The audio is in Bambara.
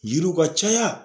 Yiriw ka caya.